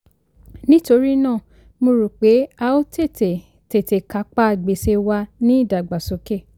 nítorí náà mo rò pé a ó tètè tètè kápá gbèsè wa ní ìdàgbàsókè.